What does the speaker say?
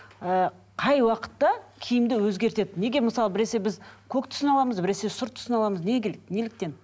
ы қай уақытта киімді өзгертеді неге мысалы біресе біз көк түсін аламыз біресе сұры түсін аламыз неге келеді неліктен